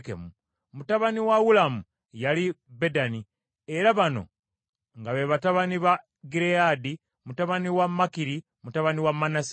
Mutabani wa Ulamu yali Bedani, era bano nga be batabani ba Gireyaadi, mutabani wa Makiri, mutabani wa Manase.